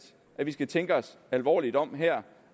at vi skal tænke os alvorligt om her